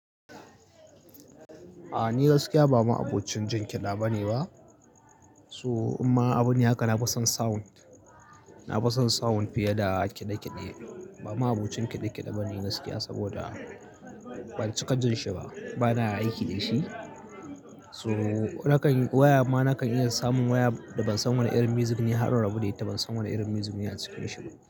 A ni gaskiya ba ma abocin jin kiɗa bane ba. So imma abune haka na fison sound, na fison sound fiye da kiɗe kiɗe. Ba ma abokin kiɗe kiɗe bane gaskiya saboda ban cika jin shi ba bana aiki dashi so nakan waya ma nakan iya samun waya da ban san wani irin music ne har in rabu da ita ban san wani irin music ne a cikin shi ba.